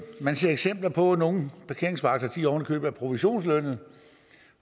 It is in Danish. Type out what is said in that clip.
man ser eksempler på at nogle parkeringsvagter ovenikøbet er provisionslønnede og